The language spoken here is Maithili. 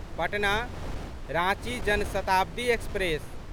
पटना राँची जन शताब्दी एक्सप्रेस